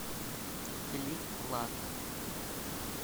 клик клак